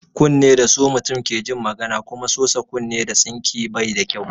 Kunne da su mutum ke jin magana kuma sosa kunne da tsinke bai da kyau.